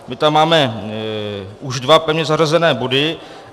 My tam máme už dva pevně zařazené body.